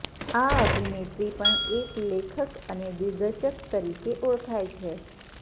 આ અભિનેત્રી પણ એક લેખક અને દિગ્દર્શક તરીકે ઓળખાય છે